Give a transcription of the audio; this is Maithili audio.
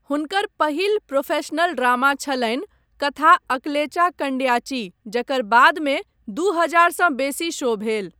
हुनकर पहिल प्रोफेशनल ड्रामा छलनि कथा अकलेचा कंड्याची, जकर बादमे दू हजार सँ बेसी शो भेल।